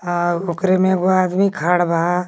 आ ओकरे में एगो आदमी खड़ बा।